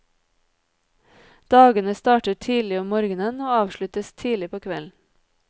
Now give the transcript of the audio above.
Dagene starter tidlig om morgenen og avsluttes tidlig på kvelden.